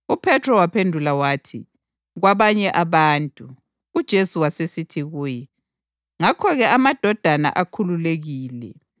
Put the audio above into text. UPhethro waphendula wathi, “Kwabanye abantu.” UJesu wasesithi kuye, “Ngakho-ke amadodana akhululekile.